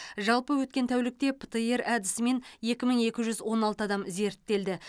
жалпы өткен тәулікте птр әдісімен екі мың екі жүз он алты адам зерттелді